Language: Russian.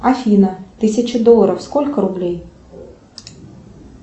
афина тысяча долларов сколько рублей